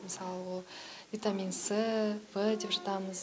мысалы ол витамин с в деп жатамыз